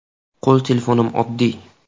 Qo‘l telefonim oddiy.